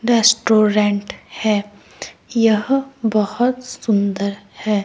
Restaurant है यह बहुत सुंदर है।